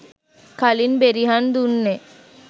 කලින් බෙරිහන් දුන්නේ